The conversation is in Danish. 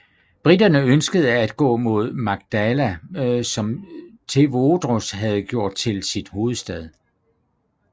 Briterne ønskede at gå mod Magdala som Tewodros havde gjort til sin hovedstad